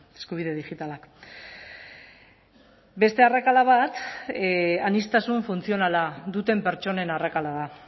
eskubide digitalak beste arrakala bat aniztasun funtzionala duten pertsonen arrakala da